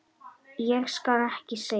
Ég skal ekki segja.